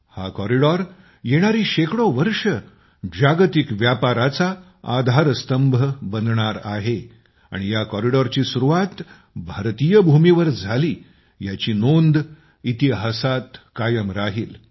हा कॉरिडॉर येणारी शेकडो वर्षे जागतिक व्यापाराचा आधारस्तंभ बनणार आहे आणि या कॉरिडॉरची सुरुवात भारतीय भूमीवर झाली याची नोंद इतिहासात कायम राहील